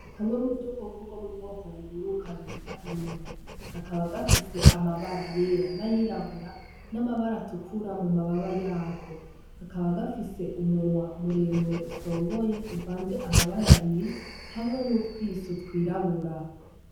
Kamwe mu dukoko bwo mu bwoko buguru kabita inuma gakaba gafise amabara yera n'ayirabura n'amabara tukura mu mababa yako gakaba gafise umunwa muremure usongoye uvanze amabara biri hamwe n'utwiso twirabura.